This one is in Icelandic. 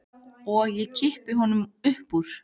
Og ég kippi honum upp úr.